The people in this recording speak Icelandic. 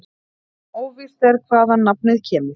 Óvíst er hvaðan nafnið kemur.